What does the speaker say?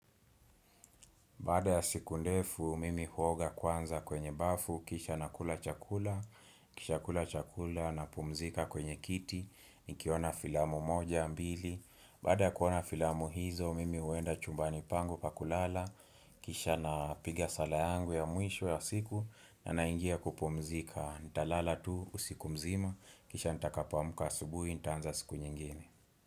Baada ya siku ndefu, mimi huoga kwanza kwenye bafu, kisha na kula chakula, Nikisha kula chakula na pumzika kwenye kiti, nikiona filamu moja ama mbili, baada ya kuona filamu hizo, mimi huenda chumbani pangu pakulala, kisha na piga sala yangu ya mwisho ya siku, na naingia kupumzika, nitalala tu usiku mzima, kisha nitakapoamka asubuhi, nitaanza siku nyingine.